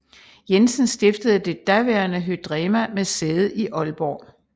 Jensen stiftede det daværende Hydrema med sæde i Aalborg